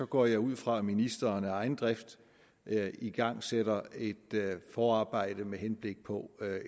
går jeg ud fra at ministeren af egen drift igangsætter et forarbejde med henblik på